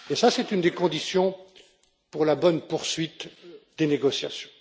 C'est l'une des conditions pour la bonne poursuite des négociations.